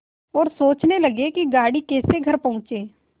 और सोचने लगे कि गाड़ी कैसे घर पहुँचे